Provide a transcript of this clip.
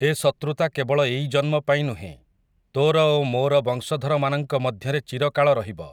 ଏ ଶତୃତା କେବଳ ଏଇ ଜନ୍ମପାଇଁ ନୁହେଁ, ତୋର ଓ ମୋର ବଂଶଧରମାନଙ୍କ ମଧ୍ୟରେ ଚିରକାଳ ରହିବ ।